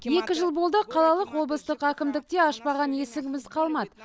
екі жыл бойы қалалық облыстық әкімдікте ашпаған есігіміз қалмады